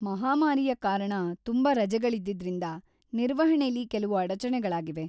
ಮಹಾಮಾರಿಯ ಕಾರಣ ತುಂಬಾ ರಜೆಗಳಿದ್ದಿದ್ರಿಂದ ನಿರ್ವಹಣೆಲಿ ಕೆಲವು ಅಡಚಣೆಗಳಾಗಿವೆ.